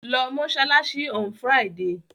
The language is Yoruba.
Lọ mọ́ṣáláṣí on Friday!